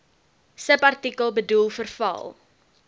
subartikel bedoel verval